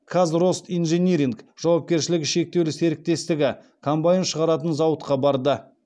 казростинжиниринг жауапкершілігі шектеулі серіктестігі комбайн шығаратын зауытқа барды